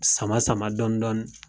Sama sama dɔɔni dɔɔni